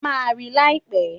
A máa rí i láìpẹ́.